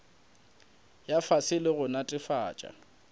ya fase le go netefatša